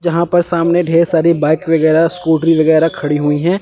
जहां पर सामने ढेर सारी बाइक वगैरह स्कूटी वगैरह खड़ी हुई हैं।